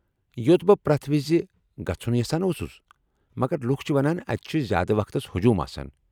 یو٘ت بہٕ پرٛتھ وِزِ گژُھن یژھان اوسُس، مگر لُکھ چھِ ونان اتہِ چھِ زیادٕ وقتس ہجوٗم آسان۔